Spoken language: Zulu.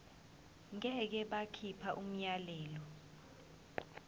ngeke bakhipha umyalelo